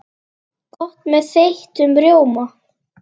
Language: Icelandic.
Gott með þeyttum rjóma!